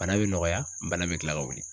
Bana bɛ nɔgɔya bana bɛ kila ka wuli.